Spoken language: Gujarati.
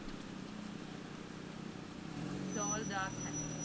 tall dark handsome